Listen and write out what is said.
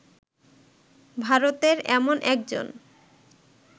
ভারতের এমন একজন